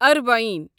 اربعین